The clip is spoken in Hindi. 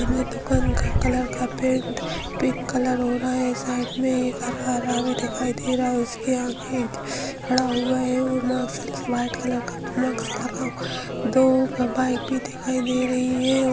सामने दुकान का कलर का पेंट पिंक कलर हो रहा है | साइड मे हरा हरा भी दिखाई दे रहा है | उसके आगे खड़ा हुआ है और मास्क व्हाइट कलर का मास्क लगा हुआ है | दो बाइक भी दिखाई दे रही है।